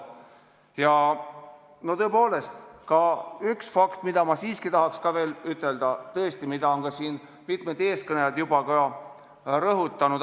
Ja tõepoolest on üks fakt, mida ma siiski tahan veel rõhutada, kuigi mitmed eeskõnelejad on seda juba teinud.